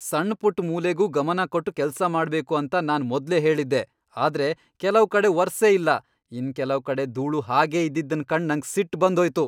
ಸಣ್ ಪುಟ್ ಮೂಲೆಗೂ ಗಮನ ಕೊಟ್ ಕೆಲ್ಸ ಮಾಡ್ಬೇಕು ಅಂತ ನಾನ್ ಮೊದ್ಲೇ ಹೇಳಿದ್ದೆ ಆದ್ರೆ ಕೆಲವ್ ಕಡೆ ವರ್ಸೆ ಇಲ್ಲ ಇನ್ ಕೆಲವ್ ಕಡೆ ದೂಳು ಹಾಗೆ ಇದ್ದಿದನ್ ಕಂಡ ನಂಗ್ ಸಿಟ್ ಬಂದ್ ಹೋಯ್ತು.